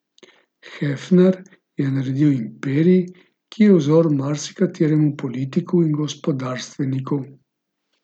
Hefner je naredil imperij, ki je vzor marsikateremu politiku in gospodarstveniku.